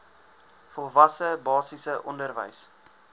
volwasse basiese onderwys